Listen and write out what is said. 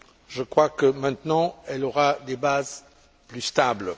Je crois que, maintenant, elle aura des bases plus stables.